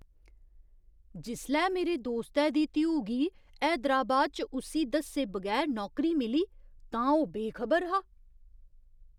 जिसलै मेरे दोस्तै दी धीऊ गी हैदराबाद च उस्सी दस्से बगैर नौकरी मिली तां ओह् बेखबर हा।